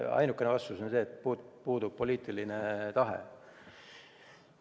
Ainukene vastus on see, et puudub poliitiline tahe.